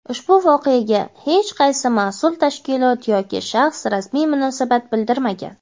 ushbu voqeaga hech qaysi mas’ul tashkilot yoki shaxs rasmiy munosabat bildirmagan.